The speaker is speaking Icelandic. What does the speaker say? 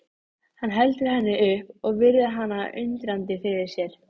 Hann heldur henni upp og virðir hana undrandi fyrir sér.